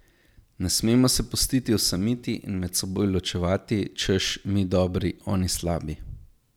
Ne smemo se pustiti osamiti in med seboj ločevati, češ, mi dobri, oni slabi.